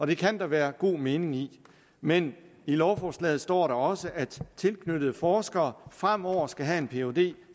det kan der være god mening i men i lovforslaget står der også at tilknyttede forskere fremover skal have en phd